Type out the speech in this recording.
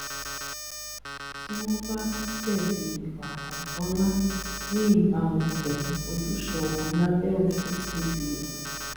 tí wọn bá jẹbi ìwà àìtọ ńlá ní ìbámu pẹlú ojúṣe wọn lábẹ òfin cbn